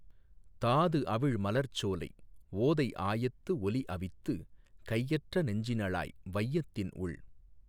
தாது அவிழ் மலர்ச் சோலை, ஓதை ஆயத்து ஒலி அவித்து, கையற்ற நெஞ்சினளாய், வையத்தின் உள்